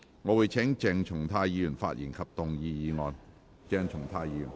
我請鄭松泰議員發言及動議議案。